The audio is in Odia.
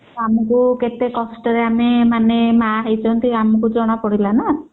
ଆମକୁ କେତେ କଷ୍ଟରେ ଆମେ ମାନେ ମା ହେଇଛନ୍ତି ଆମକୁ ଜଣା ପଡିଲା ନା